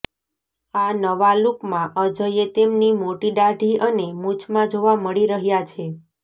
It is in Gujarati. આ નવા લુકમાં અજયે તેમની મોટી દાઢી અને મૂછમાં જોવા મળી રહ્યા છે